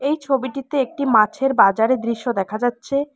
এই ছবিটিতে একটি মাছের বাজারের দৃশ্য দেখা যাচ্ছে।